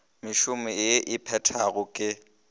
mešomo ye e phethwago ke